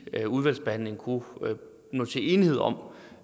udvalgsbehandlingen kunne nå til enighed om